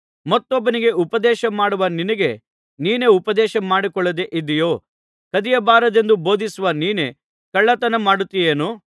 ಮತ್ತೊಬ್ಬನಿಗೆ ಉಪದೇಶ ಮಾಡುವ ನಿನಗೆ ನೀನೇ ಉಪದೇಶಮಾಡಿಕೊಳ್ಳದೆ ಇದ್ದೀಯೋ ಕದಿಯಬಾರದೆಂದು ಬೋಧಿಸುವ ನೀನೇ ಕಳ್ಳತನ ಮಾಡುತ್ತಿಯೇನು